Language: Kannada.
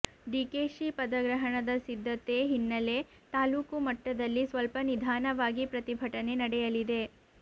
ಡಿಕೆಶಿ ಪದಗ್ರಹಣದ ಸಿದ್ದತೆ ಹಿನ್ನಲೆ ತಾಲ್ಲೂಕು ಮಟ್ಟದಲ್ಲಿ ಸ್ವಲ್ಪ ನಿಧಾನವಾಗಿ ಪ್ರತಿಭಟನೆ ನಡೆಯಲಿದೆ